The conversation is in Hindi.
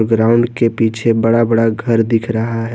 ग्राउंड के पीछे बड़ा बड़ा घर दिख रहा है।